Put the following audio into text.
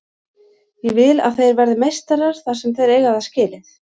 Ég vill að þeir verði meistarar þar sem þeir eiga það skilið.